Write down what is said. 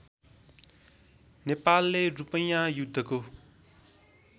नेपालले रूपैँया युद्धको